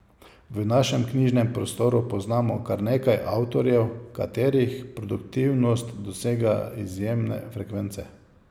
V našem knjižnem prostoru poznamo kar nekaj avtorjev, katerih produktivnost dosega izjemne frekvence.